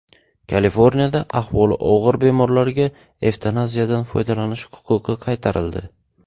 Kaliforniyada ahvoli og‘ir bemorlarga evtanaziyadan foydalanish huquqi qaytarildi.